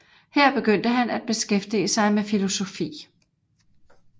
Her begyndte han at beskæftige sig med filosofi